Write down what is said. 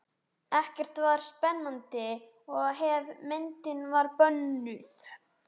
Ekkert var eins spennandi og ef myndin var bönnuð.